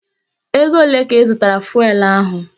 Ego olee ka ị zụtara fụelụ ahụ?